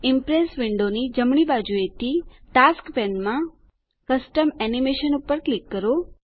Impress વિન્ડોની જમણી બાજુએથી ટાસ્ક્સ પેનમાં કસ્ટમ એનિમેશન પર ક્લિક કરો